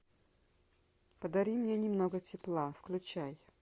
подари мне немного тепла включай